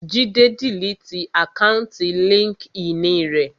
Jídé diliti àkáùntì líńki-inì rẹ̀